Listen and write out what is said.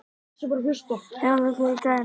Ylja, lækkaðu í græjunum.